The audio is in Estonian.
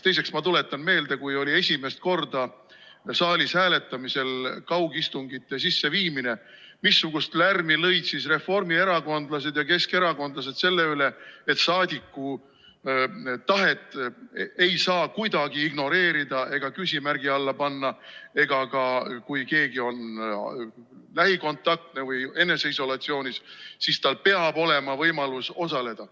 Teiseks, ma tuletan meelde, kui oli esimest korda saalis hääletamisel kaugistungite sisseviimine, missugust lärmi lõid siis reformierakondlased ja keskerakondlased selle üle, et saadiku tahet ei saa kuidagi ignoreerida ega küsimärgi alla panna ja kui keegi on ka lähikontaktne või eneseisolatsioonis, siis tal peab olema võimalus osaleda.